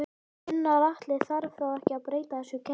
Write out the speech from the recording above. Gunnar Atli: Þarf þá ekki að breyta þessu kerfi?